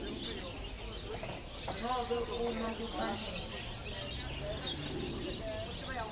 nobe uma kufanele